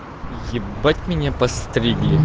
ебать меня постригли